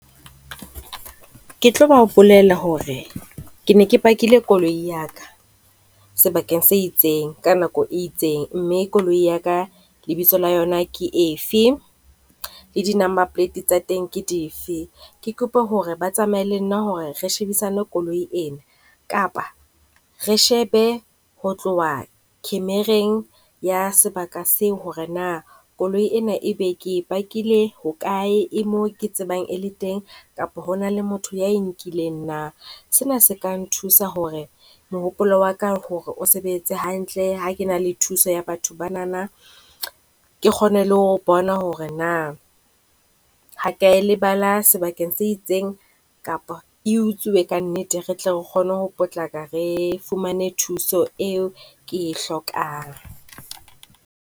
Ke tlo ba bolella hore ke ne ke pakile koloi ya ka sebakeng se itseng ka nako e itseng, mme koloi ya ka lebitso la yona ke efe le di-Number Plate tsa teng ke dife? Ke kope hore ba tsamaye le nna hore re shebisane koloi ena kapa re shebe ho tloha khemereng ya sebaka seo hore na koloi ena e be ke e parkil-e hokae e mo ke tsebang e le teng kapa ho na le motho ya e nkileng na. Sena se ka nthusa hore mohopolo wa ka hore o sebetse hantle ha ke na le thuso ya batho bana, ke kgone le ho bona hore na ha ke a e lebala sebakeng se itseng kapa e utswiwe ka nnete re tle re kgone ho potlaka. Re fumane thuso eo ke hlokang.